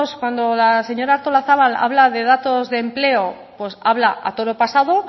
cuando la señora artolazabal habla de datos de empleo habla a toro pasado